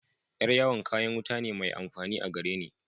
Yar'yawon kayan wuta ne mai amfani a gareni.